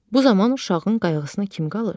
Bu zaman uşağın qayğısına kim qalır?